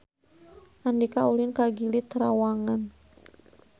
Andika ulin ka Gili Trawangan